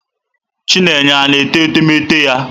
Chinenye na-ete etemeete ya?